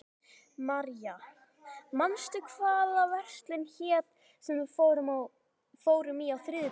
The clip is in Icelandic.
Marja, manstu hvað verslunin hét sem við fórum í á þriðjudaginn?